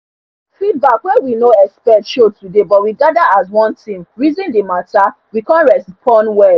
feedback wey we no expect show today but we gather as one team reason the mata we come respond well